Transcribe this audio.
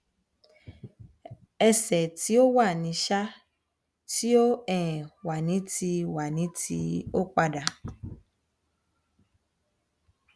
ẹsẹ ti wa ni um ti um wa ni ti wa ni ti o pada